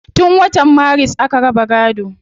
Tun wata maris aka raba gaado